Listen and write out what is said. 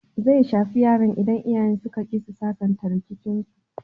Zai shafi yaran idan iyayen suka ƙi su sasanta rikicinsu.